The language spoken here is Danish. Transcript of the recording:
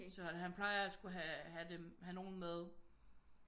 Så han plejer at skulle have nogen med